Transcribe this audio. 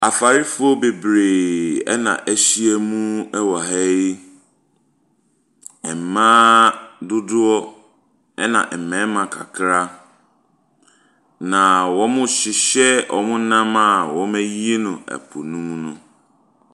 Afarefoɔ bebree na ahyam wɔ ha yi. Ɛmaa dodoɔ, ɛna mmarima kakra. Na wɔrehyehyɛ wɔn nam a wɔayi no po no mu.